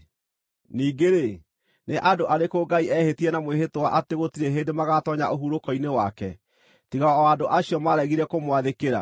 Ningĩ-rĩ, nĩ andũ arĩkũ Ngai ehĩtire na mwĩhĩtwa atĩ gũtirĩ hĩndĩ magaatoonya ũhurũko-inĩ wake, tiga o andũ acio maaregire kũmwathĩkĩra?